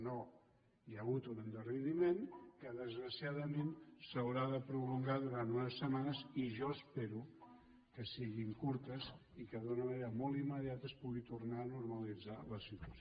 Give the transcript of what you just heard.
no hi ha hagut un endarreriment que desgraciadament s’haurà de prolongar durant unes setmanes i jo espero que siguin curtes i que d’una manera molt immediata es pugui tornar a normalitzar la situació